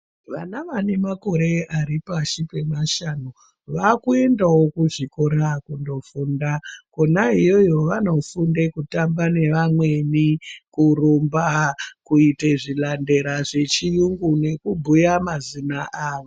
Vana vanemakore aripashi pemashanu vaakuendawo kuzvikora kundofunda. Kona iyoyo vanofunde kutamba nevamweni, kurumba, kuite zvilandela zvechiyungu nekubhuya mazina avo.